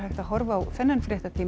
að horfa á þennan fréttatíma